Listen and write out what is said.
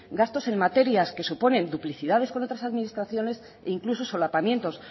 gastos en materias que suponen duplicidades con otras administraciones e incluso solapamientos